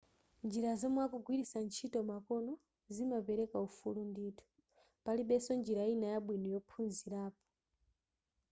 njira zomwe akugwilitsa ntchito makono zimapereka ufulu ndithu palibenso njira ina yabwino yophunzirapo